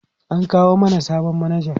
an kawo mana sabon manaja